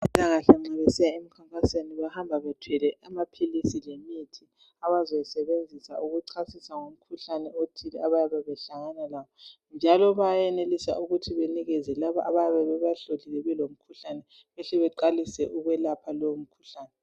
Abezempilakahle nxa besiya emkhankasweni bahamba bethwele amaphilisi lemithi abazayisebenzisa ukuchasisa ngomkhuhlane othile abayabe behlangana lawo njalo bayenelise ukuthi banikeze labo abayabe bebahlolile babathola belomkhuhlane behle beqalise ukwelapha lowomkhuhlane